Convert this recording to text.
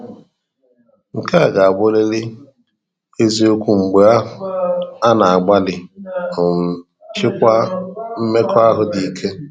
Nke a ga-abụ riri eziokwu mgbe a na-agbalị um ịchịkwa mmekọahụ dị ikē.